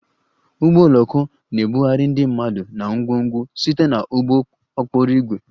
Ụgbọ oloko na-ebugharị ndị mmadụ na ngwongwo site na ụgbọ okporo ígwè